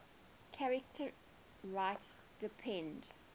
charter rights depend